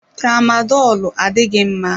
Tramadolu adịghị mma.